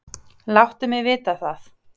láttu mig vita það.